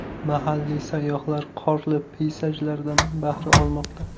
Mahalliy sayyohlar qorli peyzajlardan bahra olmoqda .